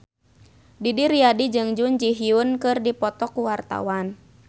Didi Riyadi jeung Jun Ji Hyun keur dipoto ku wartawan